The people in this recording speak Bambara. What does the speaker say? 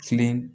Kilen